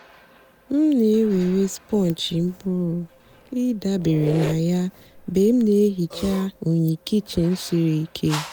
m na-èwerè spọ́ǹjì m pụ́rụ́ ị̀dabèrè na ya mgbe m na-èhìcha unyị́ kịchìn sìrí ìké.